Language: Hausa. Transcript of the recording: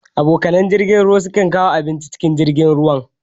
Abokanai na, na jirgin ruwa su kan kawo abinci cikin jirgin ruwan.